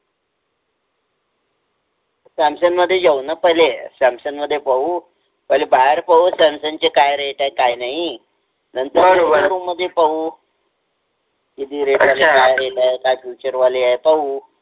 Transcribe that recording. Samsung मधे जाऊ न पहिले सॅमसंग मधे पाहु पहिले बाहेर पाहु सॅमसंग चे काय rate आहे काय नाहि नंतर showroom मधे पाहु किति rate आहे काय आहे काय Feature वाले आहे